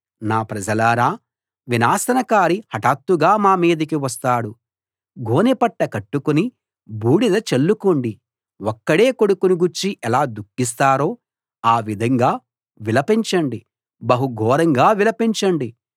నా ప్రజలారా వినాశనకారి హఠాత్తుగా మా మీదికి వస్తాడు గోనెపట్ట కట్టుకుని బూడిద చల్లుకోండి ఒక్కడే కొడుకును గూర్చి ఎలా దుఃఖిస్తారో ఆ విధంగా విలపించండి బహు ఘోరంగా విలపించండి